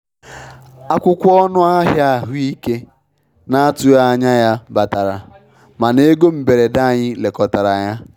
Akwụkwọ ọnụ ahịa ahụike na-atụghị anya ya batara, mana ego mberede anyị lekọtara ya.